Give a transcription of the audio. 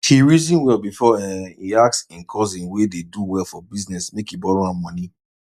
he reason well before um e ask him cousin wey dey do well for business make e borrow am money